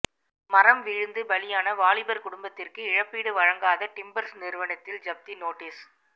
மரம் விழுந்து பலியான வாலிபர் குடும்பத்திற்கு இழப்பீடு வழங்காத டிம்பர்ஸ் நிறுவனத்தில் ஜப்தி நோட்டீஸ்